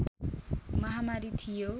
महामारी थियो